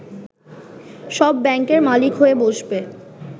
সব ব্যাংকের মালিক হয়ে বসবে